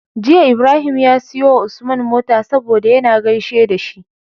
Jiya Ibrahim ya siyo wa Usman mota saboda yAna gaishe da shi